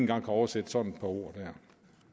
kan oversætte sådan et ord her